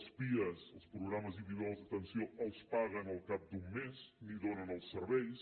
els pia els programes individuals d’atenció els paguen al cap d’un mes ni donen els serveis